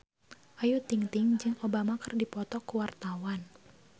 Ayu Ting-ting jeung Obama keur dipoto ku wartawan